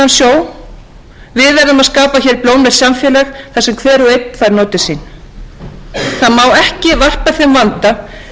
og einn fær notið sín það má ekki varpa þeim vanda sem núlifandi kynslóðir standa frammi fyrir